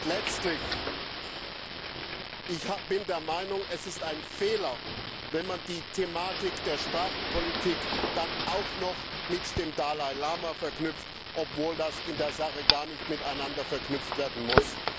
Und letztlich bin ich der Meinung, dass es ein Fehler ist, wenn man die Thematik der Sprachenpolitik dann auch noch mit dem Dalai Lama verknüpft, obwohl das in der Sache gar nicht miteinander verknüpft werden muss.